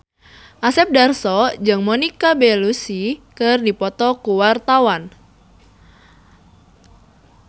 Asep Darso jeung Monica Belluci keur dipoto ku wartawan